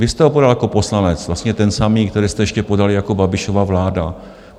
Vy jste ho podal jako poslanec, vlastně ten samý, který jste ještě podali jako Babišova vláda.